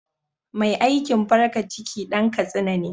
Mai aikin farka ciki Dan katsina ne.